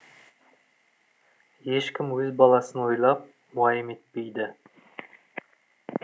ешкім өз баласын ойлап уайым етпейді